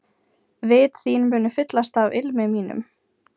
Vit þín munu fyllast af ilmi mínum.